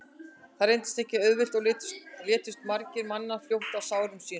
það reyndist ekki auðvelt og létust margir mannanna fljótt af sárum sínum